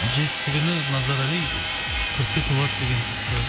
жетісі күні назарали төртке толады деген сияқты